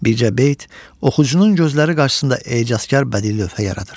Bircə beyt oxucunun gözləri qarşısında ecazkar bədii lövhə yaradır.